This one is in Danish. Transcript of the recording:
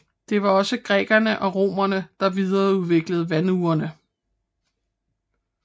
Der var også grækerne og romerne der videreudviklede vandurene